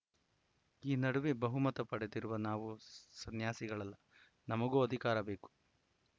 ಈ ನಡುವೆ ಬಹುಮತ ಪಡೆದಿರುವ ನಾವು ಸನ್ಯಾಸಿಗಳಲ್ಲ ನಮಗೂ ಅಧಿಕಾರ ಬೇಕು